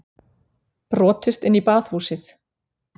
Brotist inn í Baðhúsið